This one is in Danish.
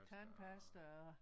Tandpasta og